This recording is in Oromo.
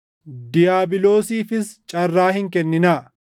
diiyaabiloosiifis carraa hin kenninaa.